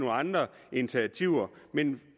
andre initiativer men